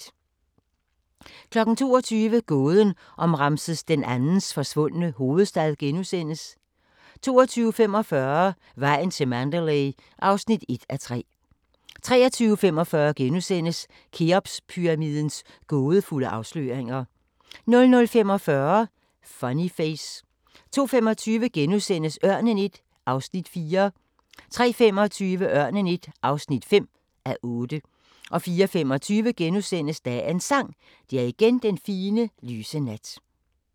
22:00: Gåden om Ramses II's forsvundne hovedstad * 22:45: Vejen til Mandalay (1:3) 23:45: Kheopspyramidens gådefulde afsløringer * 00:45: Funny Face 02:25: Ørnen I (4:8)* 03:25: Ørnen I (5:8) 04:25: Dagens Sang: Det er igen den fine, lyse nat *